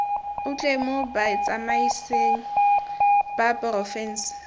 otlhe mo botsamaisng ba porofense